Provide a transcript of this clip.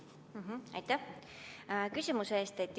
Aitäh küsimuse eest!